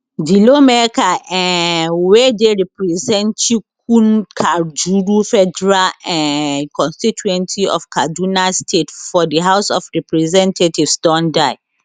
di lawmaker um wey dey represent chikunkajuru federal um constituency of kaduna state for di house of representatives don die